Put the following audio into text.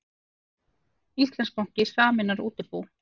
Íslandsbanki sameinar útibú